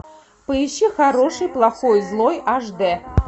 поищи хороший плохой злой аш дэ